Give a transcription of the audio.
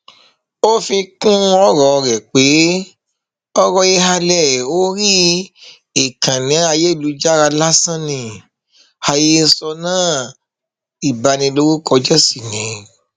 ó fi kún ọrọ rẹ pé ọrọ ìhàlẹ orí ìkànnì ayélujára lásán ni àhesọ náà ìbanilórúkọjẹ sì ni